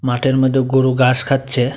মাঠের মধ্যে গোরু গাস খাচ্ছে।